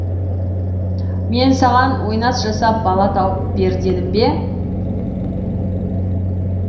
мен саған ойнас жасап бала тауып бер дедім бе